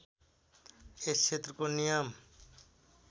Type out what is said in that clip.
यस क्षेत्रको नियम